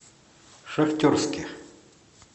шахтерске